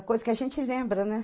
É coisa que a gente lembra, né?